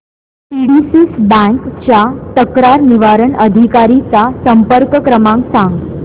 PDCC bank च्या तक्रार निवारण अधिकारी चा संपर्क क्रमांक सांग